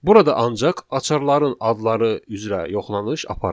Burada ancaq açarların adları üzrə yoxlanış aparılır.